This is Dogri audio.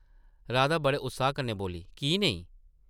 राधा बड़े उत्साह कन्नै बोल्ली, की नेईं ?